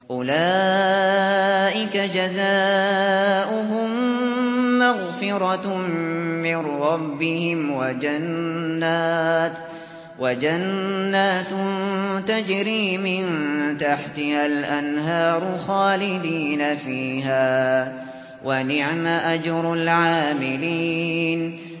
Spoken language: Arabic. أُولَٰئِكَ جَزَاؤُهُم مَّغْفِرَةٌ مِّن رَّبِّهِمْ وَجَنَّاتٌ تَجْرِي مِن تَحْتِهَا الْأَنْهَارُ خَالِدِينَ فِيهَا ۚ وَنِعْمَ أَجْرُ الْعَامِلِينَ